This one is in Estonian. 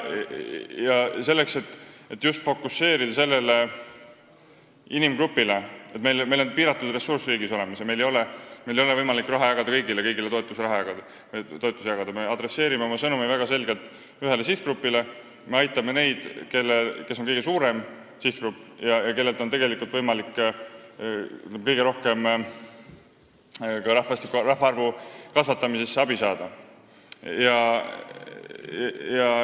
Ja selleks, et just sellele sihtgrupile fokuseerida – riigil on piiratud ressurss ja meil ei ole võimalik kõigile toetusraha jagada –, me adresseerime oma sõnumi väga selgelt: me aitame kõige suuremat sihtgruppi, kellelt on võimalik kõige rohkem rahvaarvu kasvatamise mõttes abi saada.